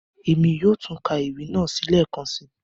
Èmi yóò tun ka ewi naa lẹẹkansi.